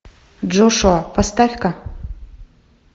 джошуа поставь ка